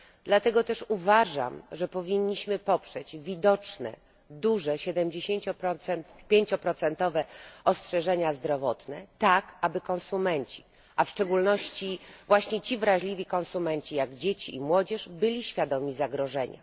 Dlatego też uważam, że powinniśmy poprzeć widoczne, duże 75 procentowe ostrzeżenia zdrowotne tak, aby konsumenci, a szczególnie właśnie ci wrażliwi konsumenci jak dzieci i młodzież, byli świadomi zagrożenia.